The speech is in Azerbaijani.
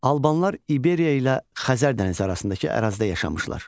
Albanlar İberia ilə Xəzər dənizi arasındakı ərazidə yaşamışlar.